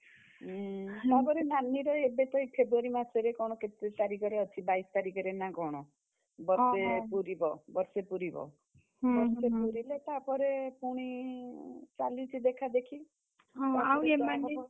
ଉଁ ଏବେ ତ ଏଇ February ମାସେରେ କଣ କେତେ ତାରିଖରେ ଅଛି ବାଇଶି ତାରିଖରେ ନା କଣ? ବର୍ଷେ ପୁରିବ ବର୍ଷେ ପୁରିବ। ବର୍ଷେ ପୁରିଲେ ତାପରେ ପୁଣି, ଚାଲିଚି ଦେଖାଦେଖି।